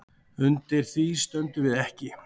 Undir því stöndum við ekki